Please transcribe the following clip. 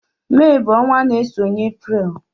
Mee bú ọnwa n'esonye April.